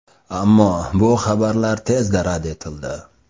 Ammo bu xabarlar tezda rad etildi .